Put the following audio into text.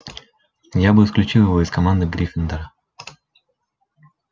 я бы исключил его из команды гриффиндора